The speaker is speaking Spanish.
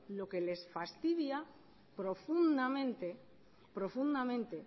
lo que le fastidia profundamente